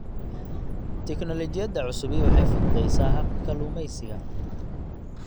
Tignoolajiyada cusubi waxay fududaysaa habka kalluumaysiga.